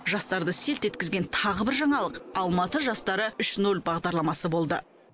жастарды селт еткізген тағы бір жаңалық алматы жастары үш ноль бағдарламасы болды